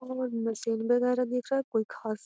और मशीन वगेरा दिख रहा है कोई खास --